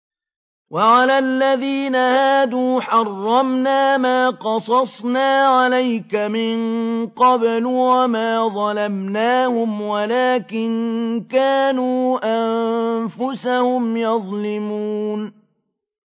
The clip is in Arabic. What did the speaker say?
وَعَلَى الَّذِينَ هَادُوا حَرَّمْنَا مَا قَصَصْنَا عَلَيْكَ مِن قَبْلُ ۖ وَمَا ظَلَمْنَاهُمْ وَلَٰكِن كَانُوا أَنفُسَهُمْ يَظْلِمُونَ